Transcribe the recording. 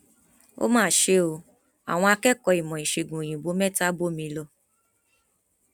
ó mà ṣe o àwọn akẹkọọ ìmọ ìṣègùn òyìnbó mẹta bómi lọ